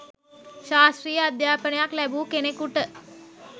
ශාස්ත්‍රීය අධ්‍යාපනයක් ලැබූ කෙනෙකුට